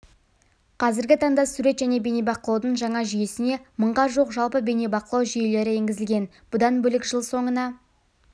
қазіргі таңда сурет және бейнебақылаудың жаңа жүйесіне мыңға жуық жалпы бейнебақылау жүйелері енгізілген бұдан бөлекжыл соңына